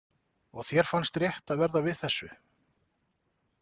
Og þér fannst rétt að verða við þessu?